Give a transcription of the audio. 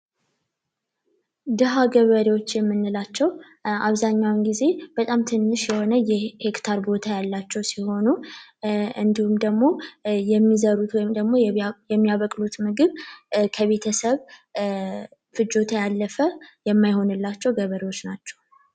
ድሀ ገበሬዎች የምንላቸው አብዛኛውን ጊዜ በጣም ትንሽ የሆነ የሄክታር ቦታ ያላቸው ሲሆኑ፤ እንዲሁም ደግሞ የሚዘሩት ወይም ደግሞ የሚያበቅሉት ምግብ ከቤተሰብ ፍጆታ ያለፈ የማይሆንላቸው ገበሬዎች ናቸው።